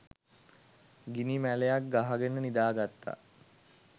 ගිනි මැලයක් ගහගෙන නිදාගත්තා